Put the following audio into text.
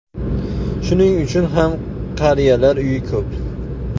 Shuning uchun ham qariyalar uyi ko‘p.